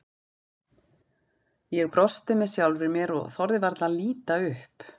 Ég brosti með sjálfri mér og þorði varla að líta upp.